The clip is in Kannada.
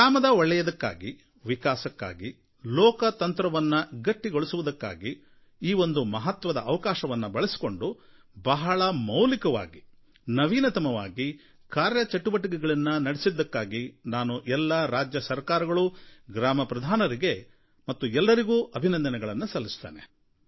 ಗ್ರಾಮದ ಒಳ್ಳೆಯದಕ್ಕಾಗಿ ವಿಕಾಸಕ್ಕಾಗಿ ಲೋಕತಂತ್ರವನ್ನು ಗಟ್ಟಿಗೊಳಿಸುವುದಕ್ಕಾಗಿ ಈ ಒಂದು ಮಹತ್ವದ ಅವಕಾಶವನ್ನು ಬಳಸಿಕೊಂಡು ಬಹಳ ಮೌಲಿಕವಾಗಿ ಹೊಸ ರೀತಿಯಲ್ಲಿ ಕಾರ್ಯಚಟುವಟಿಕೆಗಳನ್ನು ನಡೆಸಿದ್ದಕ್ಕಾಗಿ ನಾನು ಎಲ್ಲಾ ರಾಜ್ಯಸರಕಾರಗಳು ಗ್ರಾಮಪ್ರಧಾನರಿಗೆ ಮತ್ತು ಎಲ್ಲರಿಗೂ ಅಭಿನಂದನೆಗಳನ್ನು ಸಲ್ಲಿಸುತ್ತೇನೆ